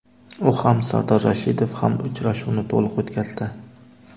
U ham, Sardor Rashidov ham uchrashuvni to‘liq o‘tkazdi.